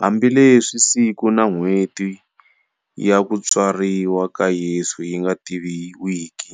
Hambileswi siku na n'weti ya tswariwa ka Yesu yinga tiviwiki,